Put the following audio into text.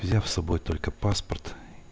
взяв собой только паспорт